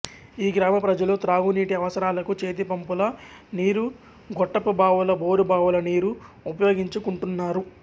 ఈ గ్రామ ప్రజలు త్రాగు నీటి అవసరాలకు చేతిపంపుల నీరు గొట్టపు బావులు బోరు బావుల నీరు ఉపయోగించు కుంటున్నారు